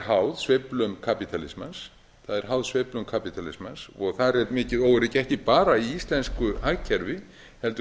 háð sveiflum kapítalismans og þar er mikið óöryggi ekki bara í íslensku hagkerfi heldur